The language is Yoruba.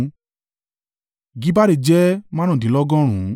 Gibbari jẹ́ márùndínlọ́gọ́rùn (95).